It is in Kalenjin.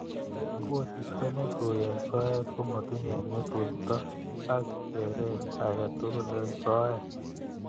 koristo netui eng soet komatinye ng'utoito ak keret age tugul eng soet.